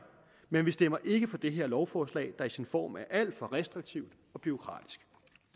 men vi stemmer ikke for det her lovforslag der i sin form er alt for restriktivt og bureaukratisk